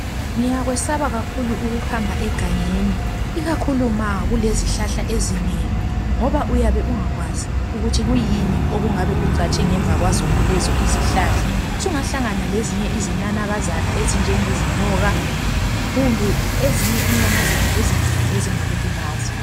Ngiyakwesaba kakhulu ukuhamba egangeni, ukakhulu ma kulezihlahla ezinengi ngoba uyabe ungakwazi ukuthi kuyini okungabe kucatshe ngemuva kwazonalezo izihlahla. Sungahlanana lezinye izinanakazana ezinjengezinyoka, kumbe ezinye inyamazana ezinkulu ezingakulimaza.